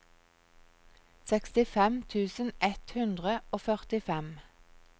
sekstifem tusen ett hundre og førtifem